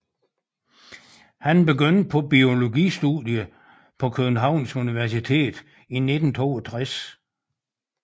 Han begyndte på biologistudiet på Københavns Universitet i 1962